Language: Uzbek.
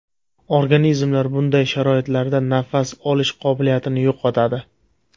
Organizmlar bunday sharoitlarda nafas olish qobiliyatini yo‘qotadi.